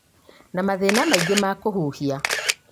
na mathĩna mangĩ ma kũhihia